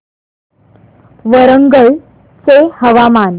वरंगल चे हवामान